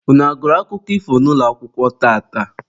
Unu a gụrụ akụkọ ifo n'ụlọakwụkwọ tata?